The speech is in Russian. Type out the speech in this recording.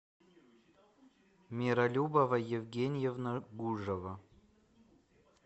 миролюбова евгеньевна гужева